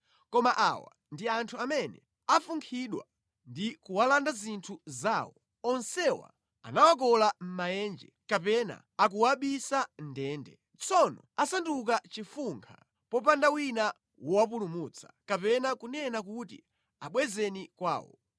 Koma awa ndi anthu amene afunkhidwa ndi kuwalanda zinthu zawo, onsewa anawakola mʼmaenje kapena akuwabisa mʼndende. Tsono asanduka chofunkha popanda wina wowapulumutsa kapena kunena kuti, “Abwezeni kwawo.”